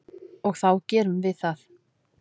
Og þá gerum við það.